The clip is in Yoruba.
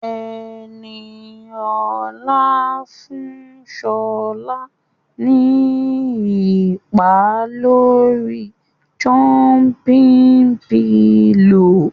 Ẹniolá fún Ṣọlá ní ìpá lórii jọ́ḿpí pilò